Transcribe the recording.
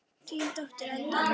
Þín dóttir, Edda.